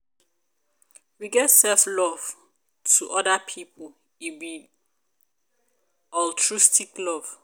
we get self love to oda pipo e be altruistic love